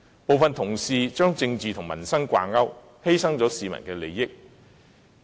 部分同事把政治與民生掛鈎，犧牲市民利益。